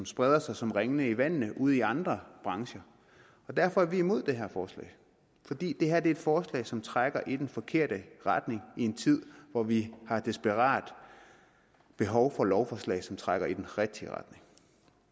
spreder sig som ringe i vandet ud i andre brancher derfor er vi imod det her forslag fordi det her er et forslag som trækker i den forkerte retning i en tid hvor vi har desperat behov for lovforslag som trækker i den rigtige retning